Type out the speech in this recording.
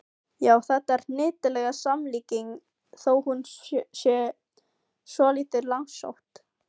Já, þetta er hnyttileg samlíking þó hún sé svolítið langsótt.